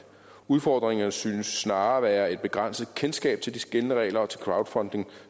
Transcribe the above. udfordringerne synes snarere at være et begrænset kendskab til de gældende regler og til crowdfunding